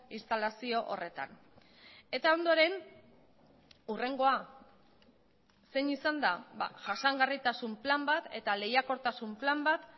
instalazio horretan eta ondoren hurrengoa zein izan da jasangarritasun plan bat eta lehiakortasun plan bat